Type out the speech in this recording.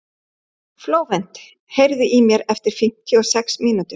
Flóvent, heyrðu í mér eftir fimmtíu og sex mínútur.